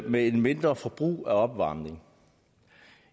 med et mindre forbrug opvarmning